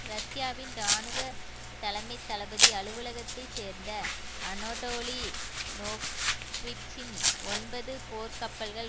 ரஷ்யாவின் இராணுவ தலைமை தளபதி அலுவலகத்தை சேர்ந்த அனோடோலி நோக்விட்சின் ஒன்பது போர்க் கப்பல்கள்